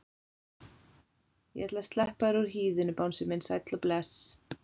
Ég ætla að sleppa þér úr hýðinu bangsi minn sæll og bless.